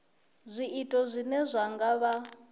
zwiito zwine zwa nga vha